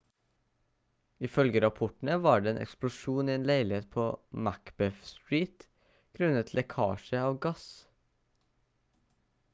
ifølge rapportene var det en eksplosjon i en leilighet på macbeth street grunnet lekkasje av gass